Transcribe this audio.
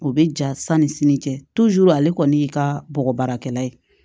O bɛ ja sanni sini cɛ ale kɔni y'i ka bɔgɔ baarakɛla ye